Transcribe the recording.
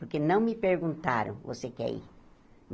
Porque não me perguntaram, você quer ir?